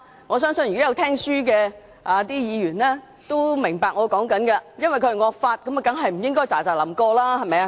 我相信細心聆聽的議員均會明白，因為是惡法，當然不應該匆匆通過。